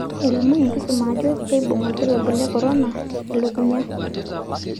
Elimu enkisuma ajo keibung olkirobi le korona elukunya.